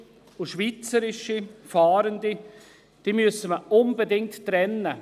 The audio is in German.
Ausländische und schweizerische Fahrende müsse man unbedingt trennen.